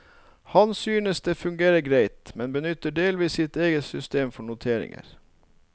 Han synes det fungerer greit, men benytter delvis sitt eget system for noteringer.